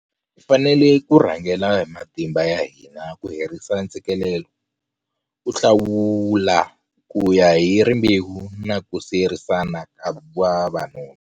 Hi fanele ku rhangela hi matimba ya hina ku herisa ntshikelelo, ku hlawula kuya hi rimbewu na ku siyerisana ka vavanuna.